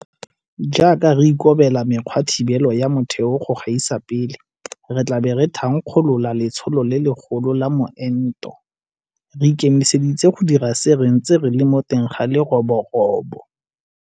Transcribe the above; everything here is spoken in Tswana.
Jaaka re ikobela mekgwathibelo ya motheo go gaisa pele, re tla bo re thankgolola letsholo le legolo la meento. Re ikemiseditse go dira se re ntse re le mo teng ga leroborobo.